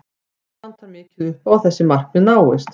Enn vantar mikið upp á að þessi markmið náist.